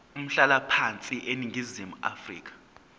umhlalaphansi eningizimu afrika